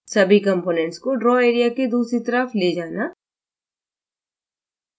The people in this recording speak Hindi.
सभी कम्पोनेंट्स को ड्रा एरिया के दूसरी तरफ ले जाना